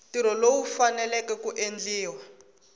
ntirho lowu faneleke ku endliwa